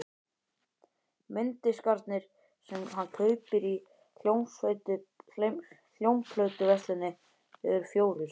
Mynddiskarnir sem hann kaupir í hljómplötuversluninni eru fjórir.